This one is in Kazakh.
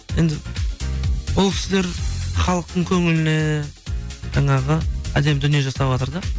енді ол кісілер халықтың көңіліне жаңағы әдемі дүние жасаватыр да